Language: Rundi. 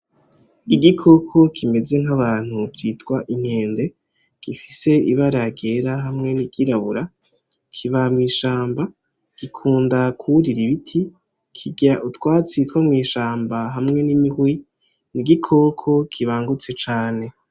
Igikoko kimeze nk'abantu citwa inkende gifise ibara ryera hamwe n'iryirabura ,Kiba mw'ishamba ,Gikunda kurira ibiti ,Kirya utwatsi two mwishamba hamwe n'imihwi n'igikoko kibangutse cane.